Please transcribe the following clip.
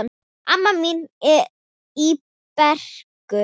Amma mín í Brekku.